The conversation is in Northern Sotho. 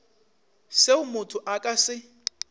seo motho a ka se